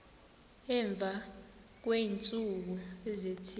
emva kweentsuku ezithile